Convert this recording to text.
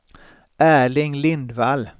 Erling Lindvall